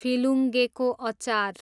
फिलुङ्गेको अचार